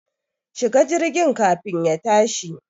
Shi ga jirgin kafin ya tashi